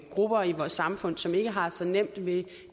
grupper i vores samfund som ikke har så nemt ved